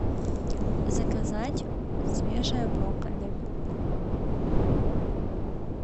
заказать свежее брокколи